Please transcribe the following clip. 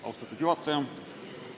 Austatud juhataja!